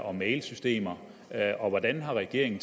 og mailsystemer og hvordan regeringen